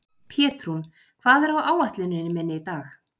Pétrún, hvað er á áætluninni minni í dag?